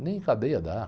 Nem cadeia dá.